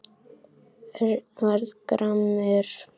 Örn varð gramur.